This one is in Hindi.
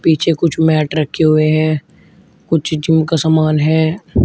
पीछे कुछ मैट रखे हुए हैं कुछ जिम का समान है।